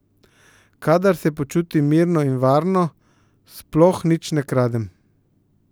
Kadar se počutim mirno in varno, sploh nič ne kradem.